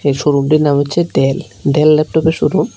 শোরুমটির নাম হচ্ছে Dell Dell ল্যাপটপের শোরুম ।